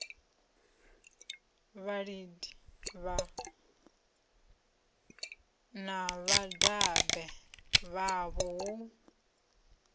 vhalidi na vhadabe vhavho hu